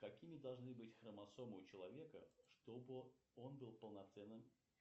какими должны быть хромосомы у человека чтобы он был полноценным